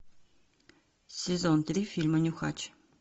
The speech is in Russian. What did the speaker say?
сезон три фильма нюхач